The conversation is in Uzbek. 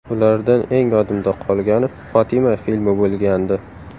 Ulardan eng yodimda qolgani ‘Fotima’ filmi bo‘lgandi.